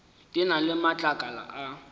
di na le matlakala a